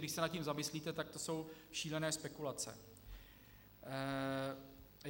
Když se nad tím zamyslíte, tak to jsou šílené spekulace.